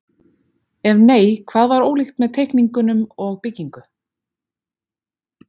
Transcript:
Ef nei, hvað var ólíkt með teikningum og byggingu?